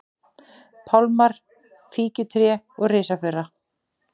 pálmar, fíkjutré og risafura.